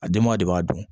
A denba de b'a dun